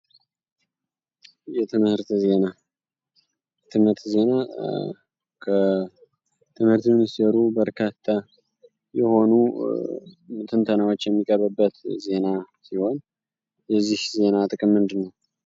የትምህት ዜና ከትምህርት የሚኒስትሩ በርታተ የሆኑ ትንተናዎች የሚቀበበት ዜና ሲሆን የዚህ ዜና ጥቅም ምንድን ነው?